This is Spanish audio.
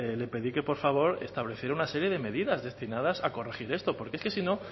le pedí que por favor estableciera una serie de medidas destinadas a corregir esto porque es que si no